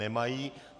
Nemají.